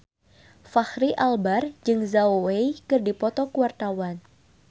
Fachri Albar jeung Zhao Wei keur dipoto ku wartawan